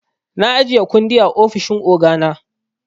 Na ajiye kundi a ofishin ogana.